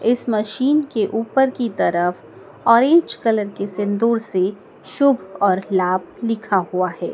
इस मशीन के ऊपर की तरफ ऑरेंज कलर के सिंदूर से शुभ और लाभ लिखा हुआ है।